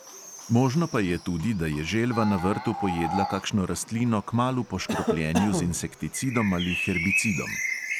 Možno pa je tudi, da je želva na vrtu pojedla kakšno rastlino kmalu po škropljenju z insekticidom ali herbicidom.